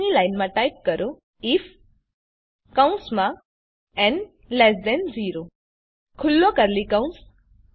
પછીની લાઈનમાં ટાઈપ કરો આઇએફ ન 0 ખુલ્લો કર્લી કૌંસ